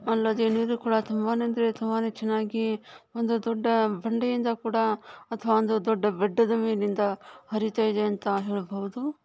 ಅಲ್ಲದೆ ನೀರು ಕೂಡಾ ತುಂಬಾನೇ ಅಂದ್ರೆ ತುಂಬಾನೆ ಚನ್ನಾಗಿ ಒಂದು ದೊಡ್ಡ ಬಂಡೆಯಿಂದ ಕೂಡ ಅಥವಾ ಒಂದು ದೊಡ್ಡ ಬೆಟ್ಟದ ಮೇಲಿಂದ ಹರಿತ ಇದೆ ಅಂತ ಹೇಳ್ಬಹುದು.